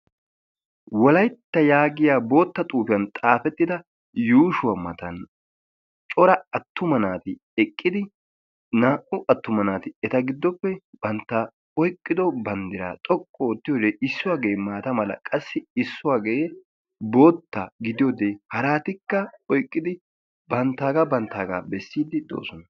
Wolaytta yaagiyaa bootta xuufiyaan xaafettida yuushshuwaa matan cora attuma naati eqqidi naa'u aatuma naati eta gidoppe bantta oyqqido banddiraa xoqqu oottiyode issuwaage maata mala issuwaagee qassi bootta gidiyoode haratikka oyqqidi banttaagaa banttaaga bessiidi doosona.